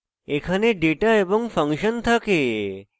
এখানে ডেটা এবং ফাংশন থাকে